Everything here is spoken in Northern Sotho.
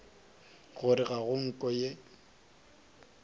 gore ga go nko ye